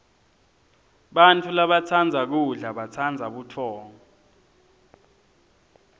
bantfu labatsandza kudla batsandza butfongo